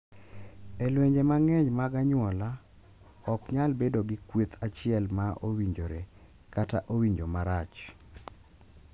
E lwenje mang’eny mag anyuola, ok nyal bedo gi kweth achiel ma "owinjore" kata "owinjo marach."